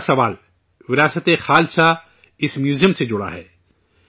تیسرا سوال 'وراثت خالصہ' اس میوزیم سے جڑا ہے